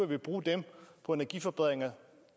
ville bruge dem på energiforbedringer